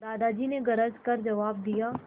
दादाजी ने गरज कर जवाब दिया